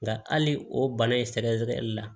Nka hali o bana in sɛgɛsɛgɛli la